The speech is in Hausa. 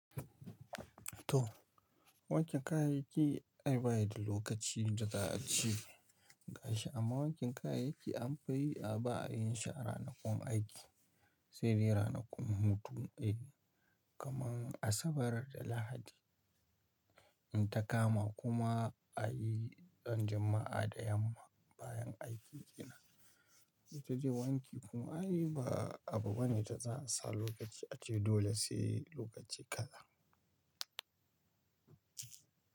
To, wancan kayayyakin ai ba ya da lokaci da za a ci gashi amma wancan kayayyakin an fi yi a baya yin shi a ranakun aiki sai dai ranakun hutu kamar Asabar da Lahadi. In ta kama kuma a yi ran Juma'a da yamma bayan aiki ina, ita dai wanki kuma ai ba abu bane da za a sa lokaci a ci dole sai lokaci kaza.